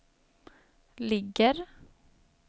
ligger